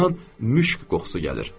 Ondan müşk qoxusu gəlir.